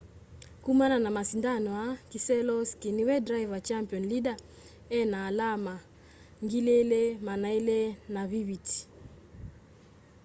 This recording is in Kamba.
kũmana na masindano aa keselowski niwe driver' champion leader ena alama 2,250